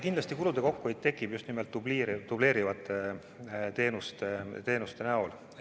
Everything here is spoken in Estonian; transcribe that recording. Kindlasti kulude kokkuhoid tekib tänu just nimelt dubleerivate teenuste kaotamisele.